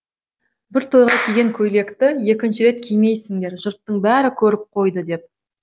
бір тойға киген көйлекті екінші рет кимейсіңдер жұрттың бәрі көріп қойды деп